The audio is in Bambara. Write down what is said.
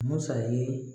Musa ye